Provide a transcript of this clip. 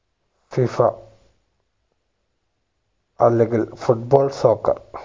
FIFA അല്ലെങ്കിൽ foot ball soccer